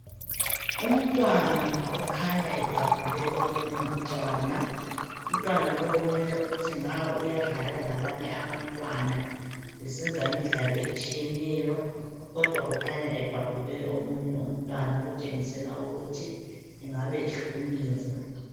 Umntwana okhanya ebhabhule omunye Umntwana ,umntwana lo kumele ukuthi nga uyadlala labanye abamntwana esenza imidlalo etshiyeneyo kodwa kukhanya ebhabhule omunye Umntwana okutshengisela ukuthi engabe ehlukunyezwa.